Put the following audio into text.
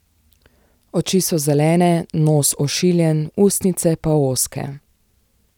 Oči so zelene, nos ošiljen, ustnice pa ozke.